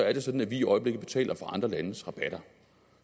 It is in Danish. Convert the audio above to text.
er sådan at vi i øjeblikket betaler for andre landes rabatter